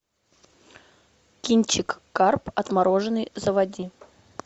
кинчик карп отмороженный заводи